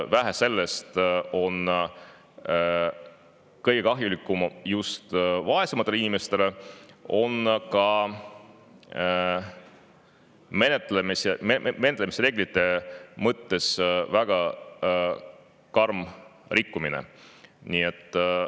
Vähe sellest, et see on kõige kahjulikum just vaesematele inimestele, selle puhul on väga karmilt rikutud menetlemise reegleid.